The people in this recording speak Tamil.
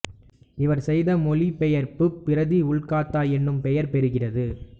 இவர் செய்த மொழிபெயர்ப்புப் பிரதி உல்காத்தா என்று பெயர் பெறுகிறது